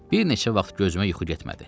Bir neçə vaxt gözümə yuxu getmədi.